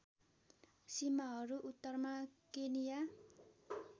सीमाहरू उत्तरमा केनिया